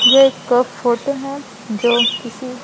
ये एक फोटो है जो किसी --